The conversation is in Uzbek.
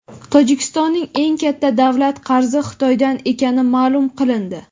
Tojikistonning eng katta davlat qarzi Xitoydan ekani maʼlum qilindi.